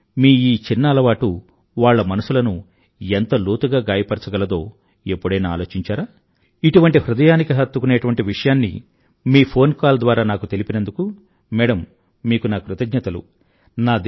కానీ మీ ఈ చిన్న అలవాటు వాళ్ల మనసులను ఎంత లోతుగా గాయపరచగలదో ఎప్పుడైనా ఆలోచించారా ఇటువంటి హృదయానికి హత్తుకునేటువంటి విషయాన్ని మీ ఫోన్ కాల్ ద్వారా నాకు తెలిపినందుకు మేడమ్ మీకు నా కృతజ్ఞతలు